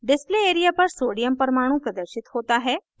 display area पर sodium परमाणु प्रदर्शित होता है